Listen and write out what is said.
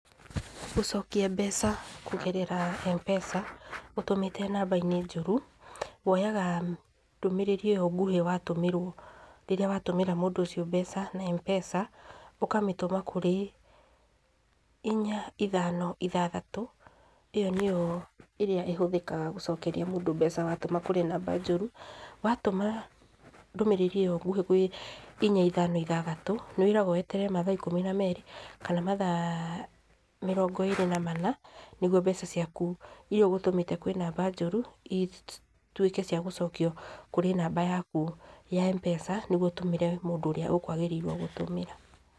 Gũcokia mbeca kũgerera mpesa ũtũmĩte namba-inĩ njũru, woyaga ndũmĩrĩri ĩyo nguhĩ watũmĩrwo rĩrĩa watũmĩra mũndũ ũcio mbeca na mpesa, ũkamĩtũma kũrĩ inya, ithano, ithathatũ, ĩyo nĩyo ĩrĩa ĩhũthĩkaga gũcokeria mũndũ mbeca watũma kũrĩ namba njũru. Watũma ndũmĩrĩri ĩyo nguhĩ gwĩ inya, ithano, ithathatũ, nĩwĩragwo weterere mathaa ikũmi na merĩ kana mathaa mĩrongo ĩrĩ na mana nĩguo mbeca ciaku irĩa ũgũtũmĩte kũrĩ namba njũru, ituĩke cia gũcokio kũrĩ namba yaku ya mpesa nĩguo ũtũmĩre mũndũ ũrĩa ũkwagĩrĩirwo gũtũmĩra.